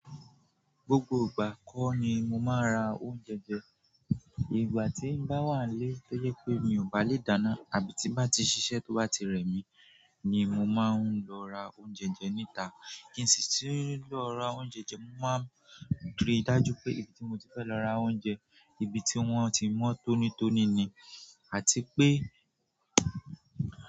Gbogbo ìgbà kọ́ ni mo máa ń ra oúnjẹ jẹ. Ìgbà tí bá wà lé tó yẹ pé mi ò bá lè dáná àbí tí bá ti ṣiṣẹ́ tó bá ti rẹ̀ mí ni mo máa ń lọ ra oúnjẹ jẹ níta. Kí n sì ti lọ ra oúnjẹ jẹ, mo máa ń re dájú pé ibi tí mo ti fẹ́ lọ ra oúnjẹ, ibi tí wọ́n ti mọ́ tónítóní ni àti pé.